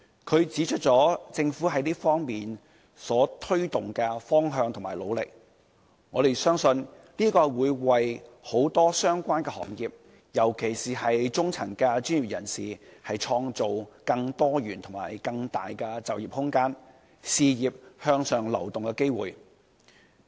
他指出了政府在這方面推動的方向和努力，我們相信這會為很多相關行業和中層專業人士，創造更多元發展和更大就業空間、更多事業向上流動的機會。